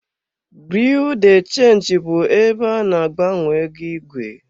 Biriu de chenji bụ ebe a na-agbanwe ego igwe.